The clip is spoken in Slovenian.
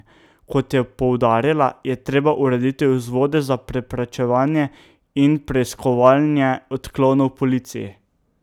Kot je poudarila, je treba urediti vzvode za preprečevanje in preiskovanje odklonov v policiji.